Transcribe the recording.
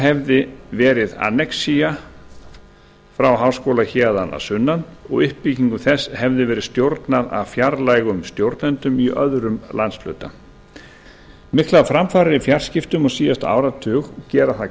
hefði verið annexía frá háskóla héðan að sunnan og uppbyggingu þess hefði verið stjórnað af fjarlægum stjórnendum í öðrum landshluta miklar framfarir á síðasta áratug gera það